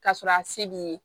K'a sɔrɔ a se b'i ye